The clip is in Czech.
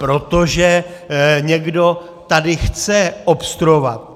Protože někdo tady chce obstruovat.